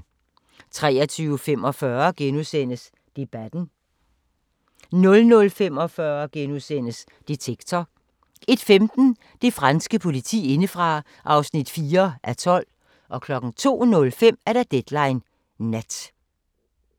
23:45: Debatten * 00:45: Detektor * 01:15: Det franske politi indefra (4:12) 02:05: Deadline Nat